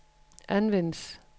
anvendes